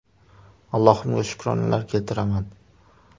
Allohimga shukronalar keltiraman.